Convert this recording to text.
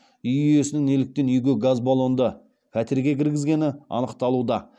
үй иесінің неліктен үйге газ баллонды пәтерге кіргізгені анықталуда